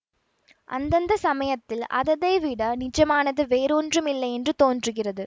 அந்தந்த சமயத்தில் அததை விட நிஜமானது வேறு ஒன்றுமில்லையென்று தோன்றுகிறது